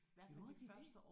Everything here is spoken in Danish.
Gjorde de det?